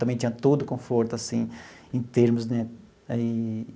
Também tinha todo o conforto, assim, em termos, né? Aí.